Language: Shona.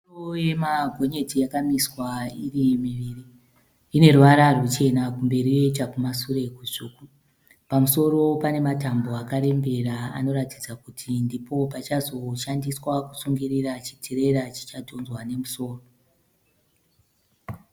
Misoro yemagonyeti yakamiswa iri miviri, ine ruvara ruchena kumberi yoita kumasure kutsvuku. Pamusoro pane matambo akarembera anoratidza kuti ndipo pachazo shandiswa kusungirira chitirera chichadhonzwa nemusoro.